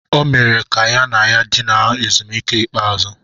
O mere ka ya na ya dinara ezumike ikpeazụ.